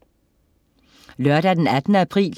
Lørdag den 18. april